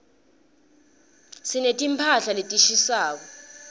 sineti mphahla letishisako